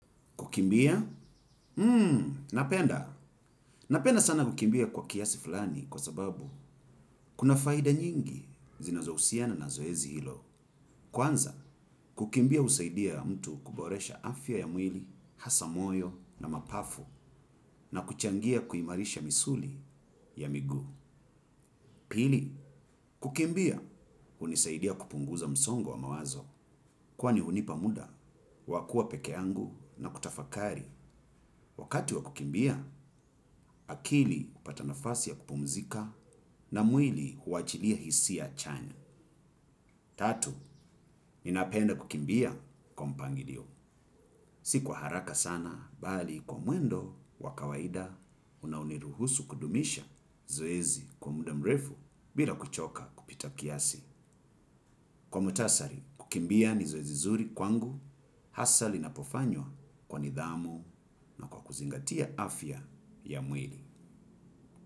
Kukimbia? Hmm, napenda. Napenda sana kukimbia kwa kiasi fulani kwa sababu kuna faida nyingi zinazohusiana na zoezi hilo. Kwanza, kukimbia husaidia mtu kuboresha afya ya mwili, hasa moyo na mapafu na kuchangia kuimarisha misuli ya miguu. Pili, kukimbia, hunisaidia kupunguza msongo wa mawazo. Kwani hunipa muda, wa kuwa peke yangu na kutafakari. Wakati wa kukimbia, akili hupata nafasi ya kupumzika na mwili huachilia hisia chanya. Tatu, ninapenda kukimbia kwa mpangilio. Si kwa haraka sana, bali kwa mwendo, wa kawaida, unaoniruhusu kudumisha zoezi kwa muda mrefu bila kuchoka kupita kiasi. Kwa muhtasari, kukimbia ni zoezi zuri kwangu, hasa linapofanywa kwa nidhamu na kwa kuzingatia afya ya mwili.